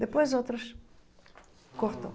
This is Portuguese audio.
Depois outras... Cortou.